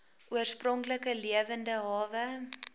oorspronklike lewende hawe